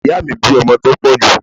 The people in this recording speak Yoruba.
Ìyáà mi bí ọmọ tó pọ̀ jù.